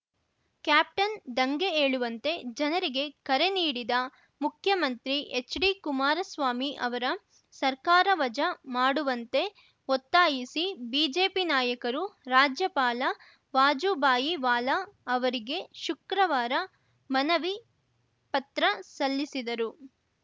captain ದಂಗೆ ಏಳುವಂತೆ ಜನರಿಗೆ ಕರೆ ನೀಡಿದ ಮುಖ್ಯಮಂತ್ರಿ ಎಚ್‌ಡಿಕುಮಾರಸ್ವಾಮಿ ಅವರ ಸರ್ಕಾರ ವಜಾ ಮಾಡುವಂತೆ ಒತ್ತಾಯಿಸಿ ಬಿಜೆಪಿ ನಾಯಕರು ರಾಜ್ಯಪಾಲ ವಾಜೂಭಾಯಿ ವಾಲಾ ಅವರಿಗೆ ಶುಕ್ರವಾರ ಮನವಿ ಪತ್ರ ಸಲ್ಲಿಸಿದರು